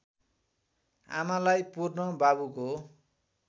आमालाई पुर्न बाबुको